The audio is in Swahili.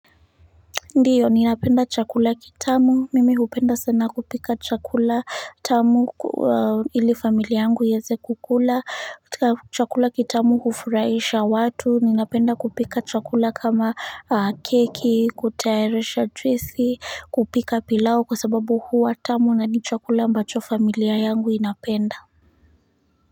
Ndiyo ninapenda chakula kitamu mimi hupenda sana kupika chakula tamu ili familia yangu ieze kukula chakula kitamu kufuraisha watu ninapenda kupika chakula kama keki kutayarisha juisi kupika pilao kwa sababu huwa tamu na ni chakula mbacho familia yangu inapenda.